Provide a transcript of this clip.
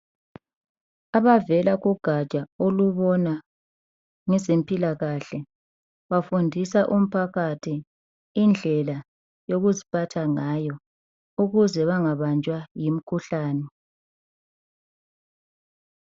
Abavela kugatsha olubona ngezempilakahle bafundisa umphakathi indlela yokuziphatha ngayo ukuze bangabanjwa yimikhuhlane.